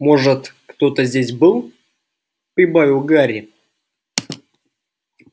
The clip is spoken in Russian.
может кто-то здесь был прибавил гарри